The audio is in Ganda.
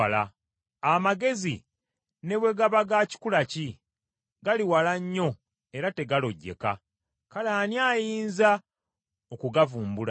Amagezi ne bwe gaba ga kikula ki, gali wala nnyo era tegalojjeka, kale ani ayinza okugavumbula?